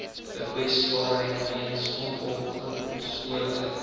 kwesbaarheid weens onopgespoorde